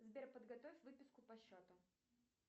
сбер подготовь выписку по счету